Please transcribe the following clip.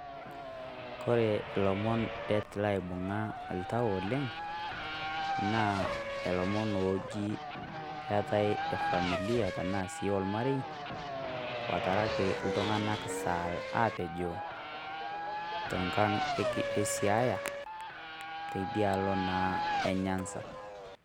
Kore ilomon det laibung'a iltau oleng',naa ilomon oji keetae efamilia tenaa si ormarei, otaraki iltung'anak sa apejoo, tenkang' e Siaya teidialo naa e Nyanza.